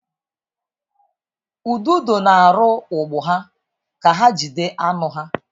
Ududo na-arụ ụgbụ ha ka ha jide anụ ha.